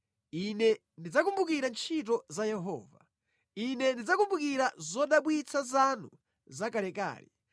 Ine ndidzakumbukira ntchito za Yehova; Ine ndidzakumbukira zodabwitsa zanu za kalekale.